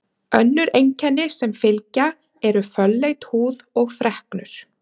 Önnur einkenni sem fylgja eru fölleit húð og freknur.